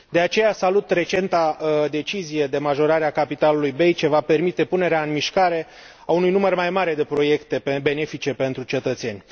De aceea salut recenta decizie de majorare a capitalului BEI, ce va permite punerea în mișcare a unui număr mai mare de proiecte benefice pentru cetățeni.